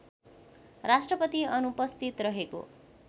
राष्‍ट्रपति अनुपस्थित रहेको